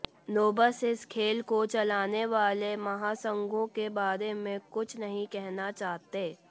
knobs इस खेल को चलाने वाले महासंघों के बारे में कुछ नहीं कहना चाहते